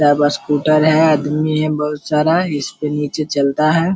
बस स्कूटर है आदमी है बहुत सारा इसके नीचे चलता है।